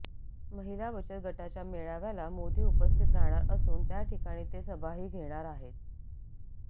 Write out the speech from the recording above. महिला बचत गटाच्या मेळाव्याला मोदी उपस्थित राहणार असून त्याठिकाणी ते सभाही घेणार आहेत